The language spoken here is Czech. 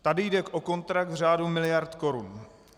Tady jde o kontrakt v řádu miliard korun.